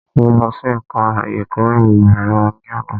Mo lọ sí ẹka ẹ̀kọ́ ìmọ̀ ẹ̀rọ ní àná.